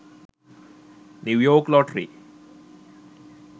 new york lottery